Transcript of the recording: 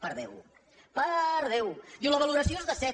per déu per déu diu la valoració és de set